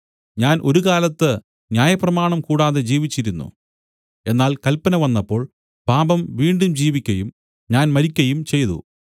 ഞാൻ ഒരുകാലത്ത് ന്യായപ്രമാണം കൂടാതെ ജീവിച്ചിരുന്നു എന്നാൽ കല്പന വന്നപ്പോൾ പാപം വീണ്ടും ജീവിക്കയും ഞാൻ മരിക്കയും ചെയ്തു